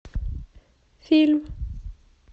фильм